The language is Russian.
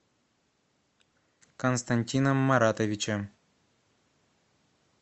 константином маратовичем